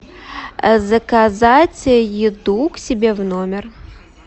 заказать еду к себе в номер